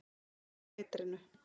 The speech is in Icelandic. Þefaði af eitrinu.